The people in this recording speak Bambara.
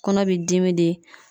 Kɔnɔ b'i dimi de